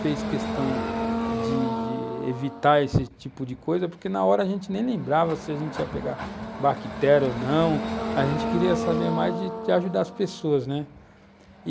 fez questão de de evitar esse tipo de coisa, porque, na hora, a gente nem lembrava se a gente ia pegar bactéria ou não, a gente queria saber mais de ajudar as pessoas, né?